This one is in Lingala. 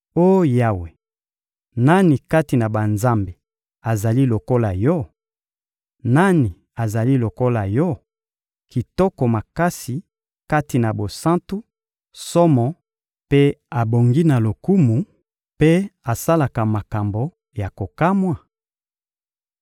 Oh Yawe, nani kati na banzambe azali lokola Yo? Nani azali lokola Yo, kitoko makasi kati na bosantu, somo, mpe abongi na lokumu, mpe asalaka makambo ya kokamwa?